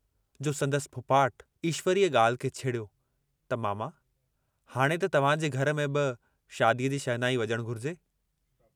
जो संदसि फुफाट ईश्वरीअ ॻाल्हि खे छेड़ियो त मामा हाणे त तव्हांजे घर में बि शादीअ जी शहनाई वॼणु घुरिजे।